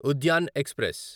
Udyan express